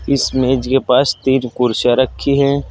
इस मेज के पास तीन कुर्सियां रखी हैं।